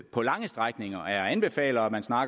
på lange strækninger og anbefaler